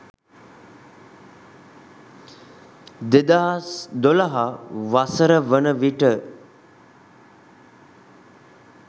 2012 වසර වන විට